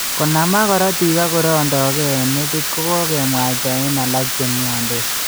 Konamak korotiik ak korondo ke eng' metit ko kkokemwaita eng' alak che mnyandos.